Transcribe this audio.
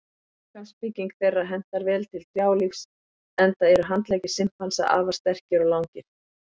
Líkamsbygging þeirra hentar vel til trjálífs enda eru handleggir simpansa afar sterkir og langir.